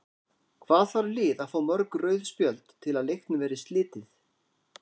Hvað þarf lið að fá mörg rauð spjöld til að leiknum verði slitið?